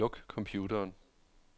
Luk computeren.